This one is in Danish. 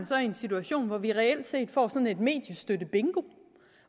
så i en situation hvor vi reelt set får sådan et mediestøttebingo